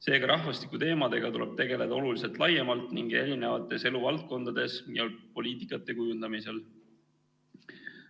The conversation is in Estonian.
Seega, rahvastikuteemadega tuleb tegeleda oluliselt laiemalt ning erinevates eluvaldkondades ja eri poliitikate kujundamisel.